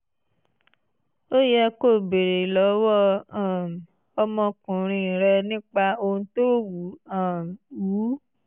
ó yẹ kó o béèrè lọ́wọ́ um ọmọkùnrin rẹ nípa ohun tó wù um ú